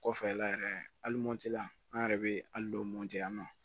Kɔfɛ la yɛrɛ hali mɔti la an yɛrɛ bɛ alidon moti yan nɔ